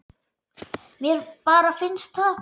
Mér bara finnst það.